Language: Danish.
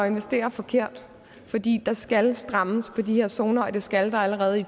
investere forkert fordi der skal strammes op på de her zoner og det skal der allerede i